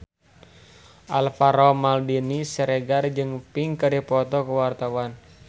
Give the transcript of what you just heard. Alvaro Maldini Siregar jeung Pink keur dipoto ku wartawan